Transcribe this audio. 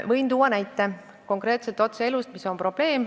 Võin tuua konkreetse näite otse elust.